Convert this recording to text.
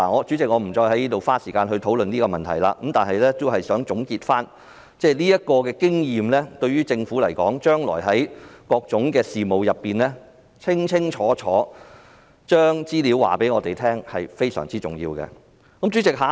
主席，我不再花時間討論這個問題，但我想總結一下，這個經驗告訴政府，處理各種事務均須清清楚楚，並向我們提供有關資料。